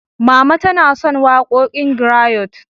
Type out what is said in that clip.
Mama tana son waƙoƙin grayot.